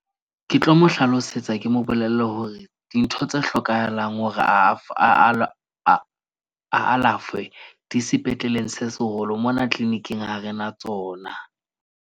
Ke tlo mo hlalosetsa ke mo bolelle hore dintho tse hlokahalang hore a a alafwe di sepetleleng se seholo. Mona clinic-ing ha rena tsona.